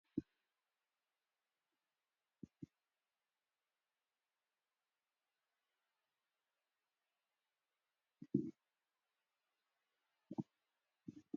አብ ኢትዩጲያ ካበ ዝርከባ ናየ ውልቀ ኮሌጃት ሓደ ኮሌጀ ሽባ አካዳሚ እዩ። ሽባ አካዳሚ አብ ዝተፈላለዩ ቦታታተ ቅርጫፍ ዘለዎ እዩ። ንስኩም ከ አብዚ ኮሌጅ ተማሂርኩም ዶ ተፈለጡ?